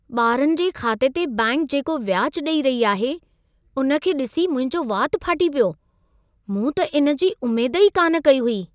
ॿारनि जे खाते ते बैंक जेको व्याज ॾेई रही आहे, उन खे ॾिसी मुंहिंजो वात फाटी पियो। मूं त इन जी उमेद ई कान कई हुई।